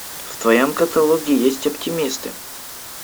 в твоем каталоге есть оптимисты